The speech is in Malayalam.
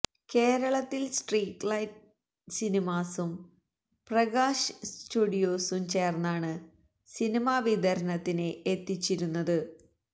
കേരളത്തില് സ്ട്രീറ്റ് ലൈറ്റ് സിനിമാസും പ്രകാശ് സ്റ്റുഡിയോസും ചേര്ന്നാണ് സിനിമ വിതരണത്തിന് എത്തിച്ചിരുന്നത്